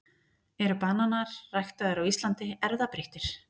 Eru bananar ræktaðir á Íslandi erfðabreyttir?